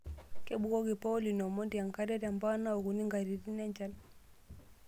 Kebukoki paulin omondi enkare tempump naokuni nkatitin enchan.